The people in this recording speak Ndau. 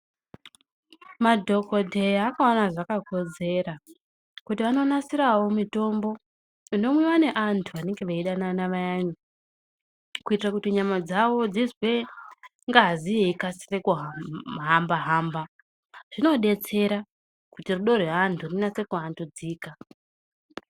Madhokodheya akaona zvakakodzera kuti vanonasirawo mitombo inomwiwa nevantu vanenge veyidanana vayani kuitira kuti nyamadzawo dzizwe ngazi yeyikasira kuhamba hamba zvinobetsera kuti rudo rwevantu rikasire kuvandudzika.